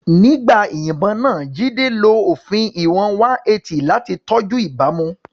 Nígbà ìyìnbọn náà, Jide lo òfin ìwọ̀n 180 láti tọ́jú ìbámu.